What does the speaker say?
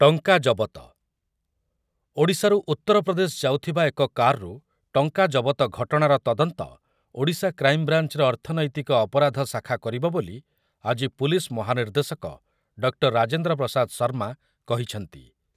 ଟଙ୍କା ଜବ ଜବତ, ଓଡ଼ିଶାରୁ ଉତ୍ତରପ୍ରଦେଶ ଯାଉଥିବା ଏକ କାରରୁ ଟଙ୍କା ଜବତ ଘଟଣାର ତଦନ୍ତ ଓଡ଼ିଶା କ୍ରାଇମ୍ବ୍ରାଞ୍ଚର ଅର୍ଥନୈତିକ ଅପରାଧ ଶାଖା କରିବ ବୋଲି ଆଜି ପୁଲିସ୍ ମହାନିର୍ଦ୍ଦେଶକ ଡକ୍ଟର ରାଜେନ୍ଦ୍ର ପ୍ରସାଦ ଶର୍ମା କହିଛନ୍ତି ।